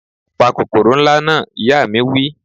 Pa kòkòrò na! Ìyá mi wí